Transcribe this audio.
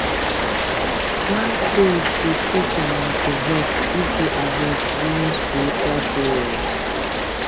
land spirit dey quick um to vex if you harvest during spiritual periods